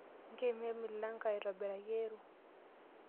Nkeno emilango aitobiraki ero.